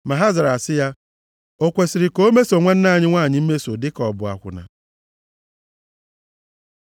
Ma ha zara sị ya, “O kwesiri ka o meso nwanne anyị nwanyị mmeso dịka ọ bụ akwụna?”